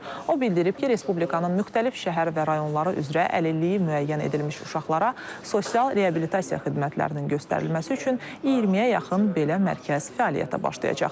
O bildirib ki, Respublikanın müxtəlif şəhər və rayonları üzrə əlilliyi müəyyən edilmiş uşaqlara sosial reabilitasiya xidmətlərinin göstərilməsi üçün 20-yə yaxın belə mərkəz fəaliyyətə başlayacaq.